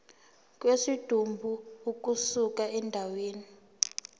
kwesidumbu ukusuka endaweni